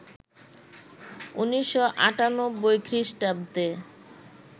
১৯৯৮ খ্রিস্টাব্দে